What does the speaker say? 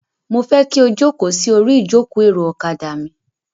Mo fẹ́ kí o jókòó sí orí ìjókòó-èrò ọ̀kadà mi.